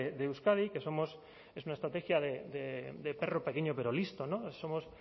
de euskadi que somos es una estrategia de perro pequeño pero listo somos